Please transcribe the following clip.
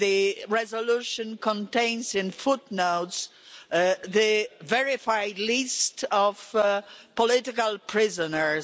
The resolution contains in footnotes the verified list of political prisoners.